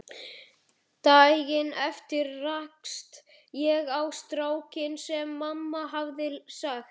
Daginn eftir rakst ég á strákinn sem mamma hafði sagt